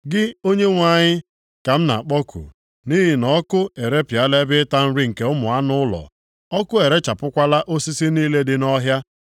Gị Onyenwe anyị, ka m na-akpọku, nʼihi na ọkụ erepịala ebe ịta nri nke ụmụ anụ ụlọ. Ọkụ erechapụkwala osisi niile dị nʼọhịa.